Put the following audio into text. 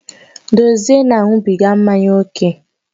Dozie na-aṅụbiga mmanya ókè